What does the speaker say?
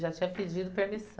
Já tinha pedido permissão.